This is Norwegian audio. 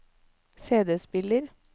CD-spiller